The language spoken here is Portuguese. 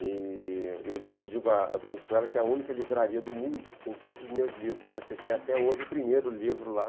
E eu digo digo, brinco com ela que é a única livraria do mundo que tem todos os meus livros, né, porque tem até hoje o primeiro livro lá